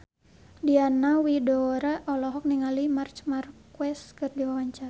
Diana Widoera olohok ningali Marc Marquez keur diwawancara